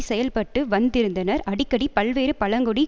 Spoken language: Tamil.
செயல்பட்டு வந்திருந்தனர் அடிக்கடி பல்வேறு பழங்குடி